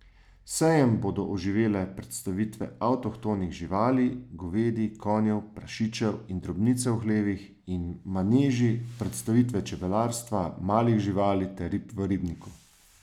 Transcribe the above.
Sejem bodo oživele predstavitve avtohtonih živali, govedi, konjev, prašičev in drobnice v hlevih in maneži, predstavitve čebelarstva, malih živali ter rib v ribniku.